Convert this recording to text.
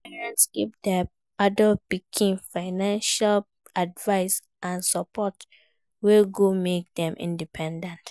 Some parents give their adult pikin financial advice and support wey go make dem independent